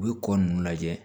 U bɛ kɔ ninnu lajɛ